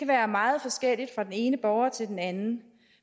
være meget forskelligt fra den ene borger til den anden